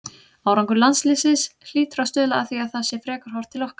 Árangur landsliðsins hlýtur að stuðla að því að það sé frekar horft til okkar.